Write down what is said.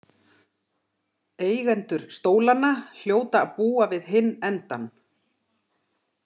Eigendur stólanna hljóta að búa við hinn endann